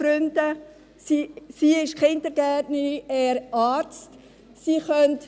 Die Frau ist Kindergärtnerin und der Mann Arzt.